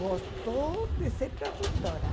Gostou de ser tradutora.